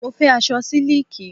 Mo fẹ́ aṣọ sílíkì.